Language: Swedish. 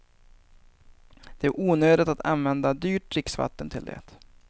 Det är onödigt att använda dyrt dricksvatten till det.